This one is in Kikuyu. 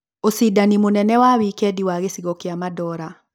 Ũcindani mũnene wa wikendi wa gĩcigo kĩa madola